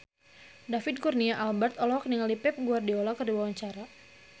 David Kurnia Albert olohok ningali Pep Guardiola keur diwawancara